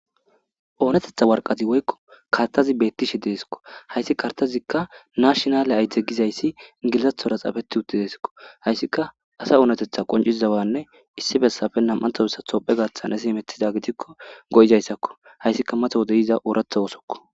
oonetetha warqati woykko kartazi beettishe deeskko hayssi kartazikka nashonale ayde gizayssi gilzathora xafeti utti deeskko hayssika asa oonetetha qonciszawanne issi bessafe nam7anthobissa tophe gathan asi emetiza gitikko go7izayssakko hayssika mato wode yiza ooratha oosokko